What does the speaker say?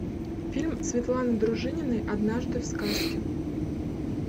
фильм светланы дружининой однажды в сказке